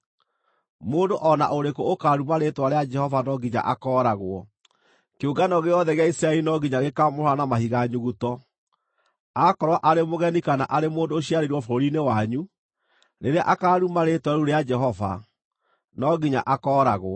Mũndũ o na ũrĩkũ ũkaaruma rĩĩtwa rĩa Jehova no nginya akooragwo. Kĩũngano gĩothe gĩa Isiraeli no nginya gĩkaamũhũũra na mahiga nyuguto. Aakorwo arĩ mũgeni kana arĩ mũndũ ũciarĩirwo bũrũri-inĩ wanyu, rĩrĩa akaaruma Rĩĩtwa rĩu rĩa Jehova, no nginya akooragwo.